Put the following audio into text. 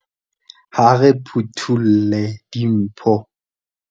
Ha re phutholle dimpho.